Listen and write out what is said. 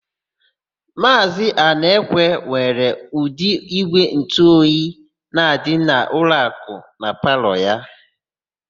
Maazị Anaekwe nwere ụdị ígwèntụoyi na-adị n'ụlọakụ na palọ ya.